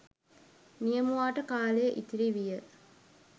නියමුවාට කාලය ඉතිරි විය